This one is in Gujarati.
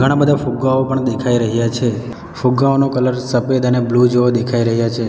ઘણા બધા ફુગ્ગાઓ પણ દેખાઈ રહ્યા છે ફુગ્ગાઓનો કલર સફેદ અને બ્લુ જોવા દેખાઈ રહ્યા છે.